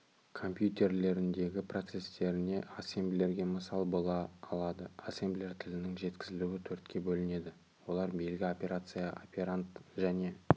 компьютерлеріндегі процестеріне ассемблерге мысал бола алады ассемблер тілінің жеткізілуі төртке бөлінеді олар белгі операция операнд және